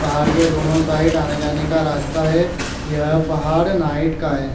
पहाड़ के दोनों साइड आने जाने का रास्ता है यह पहाड़ नाईट का है ।--